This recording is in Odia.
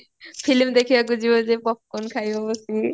filmy ଦେଖିବାକୁ ଯିବ ଯୋଉ popcorn ଖାଇବ ବସିକି